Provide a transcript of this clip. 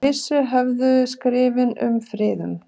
Með vissu höfðu skrifin um friðun